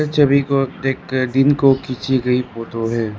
इस छवि को देख कर दिन को खींची गई फोटो है।